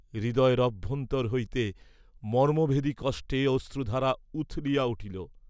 হৃদয়ের অভ্যন্তর হইতে মর্ম্মভেদী কষ্টে অশ্রুধারা উথলিয়া উঠিল।